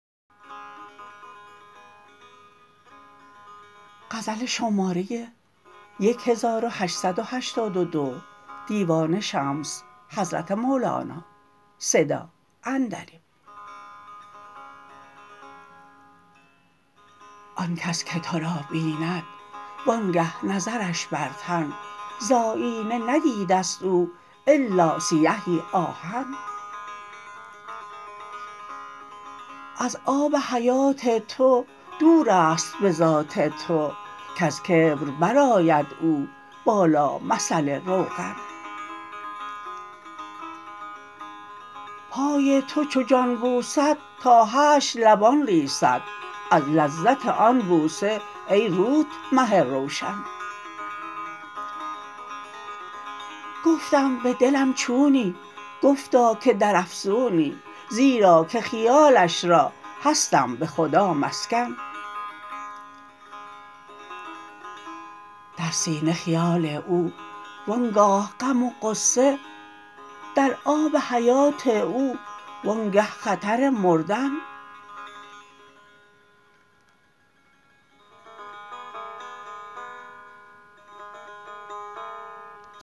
آن کس که تو را بیند وانگه نظرش بر تن ز آیینه ندیده ست او الا سیهی آهن از آب حیات تو دور است به ذات تو کز کبر برآید او بالا مثل روغن پای تو چو جان بوسد تا حشر لبان لیسد از لذت آن بوسه ای روت مه روشن گفتم به دلم چونی گفتا که در افزونی زیرا که خیالش را هستم به خدا مسکن در سینه خیال او وان گاه غم و غصه در آب حیات او وانگه خطر مردن